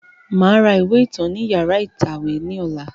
Màá ra ìwé ìtàn ni yàrá ìtàwé ní ọ̀la